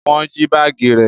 Wọn jí baagi rẹ